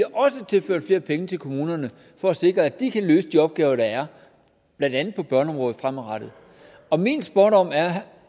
også tilført flere penge til kommunerne for at sikre at de kan løse de opgaver der er blandt andet på børneområdet fremadrettet og min spådom er